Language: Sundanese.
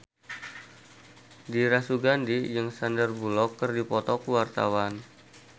Dira Sugandi jeung Sandar Bullock keur dipoto ku wartawan